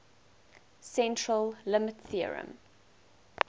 central limit theorem